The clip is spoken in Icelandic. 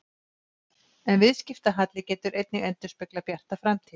En viðskiptahalli getur einnig endurspeglað bjarta framtíð.